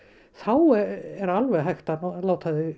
þá er alveg hægt að nota þau